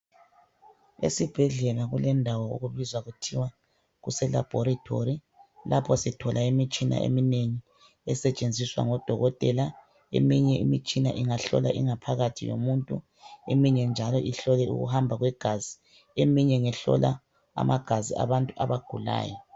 Esibhedlela kulendawo okubizwa kuthiwa kuselaboratory, lapho sithola imitshina eminengi esetshenziswa ngodokotela eminye imitshina ingahlola ingaphakathi yomuntu eminye njalo ihlole ukuhamba kwegazi eminye ngehlola amagazi abantu abagulayo.